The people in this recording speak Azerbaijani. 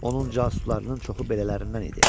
Onun casuslarının çoxu belələrindən idi.